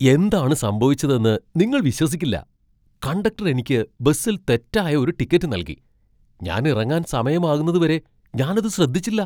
എന്താണ് സംഭവിച്ചതെന്ന് നിങ്ങൾ വിശ്വസിക്കില്ല! കണ്ടക്ടർ എനിക്ക് ബസിൽ തെറ്റായ ഒരു ടിക്കറ്റ് നൽകി, ഞാൻ ഇറങ്ങാൻ സമയമാകുന്നതുവരെ ഞാൻ അത് ശ്രദ്ധിച്ചില്ല!